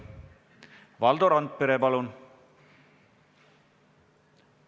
Valdo Randpere, palun!